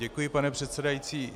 Děkuji, pane předsedající.